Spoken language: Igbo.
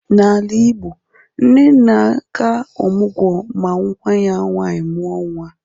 N'ala igbo, nne na-aga ọmugwọ ma nwa ya nwaanyi mụọ nnwa